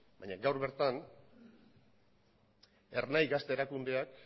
baina gaur bertan ernai gazte erakundeak